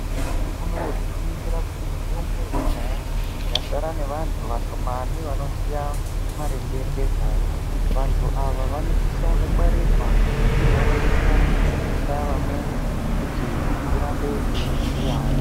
Nyamashi unouyu tinoningira kuti mitombo yekudhaya yasara nevantu vashomani vanoziya maringe ngezvayo. Vantu ava vanosisa kungwarirwa, uye vanosisa kufundisa vamweni kuti tirambe teiziyavo.